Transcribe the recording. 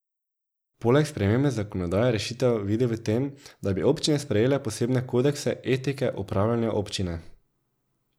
Poleg spremembe zakonodaje rešitev vidi v tem, da bi občine sprejele posebne kodekse etike upravljanja občine.